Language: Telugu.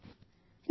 నాలుగో ఫోన్ కాల్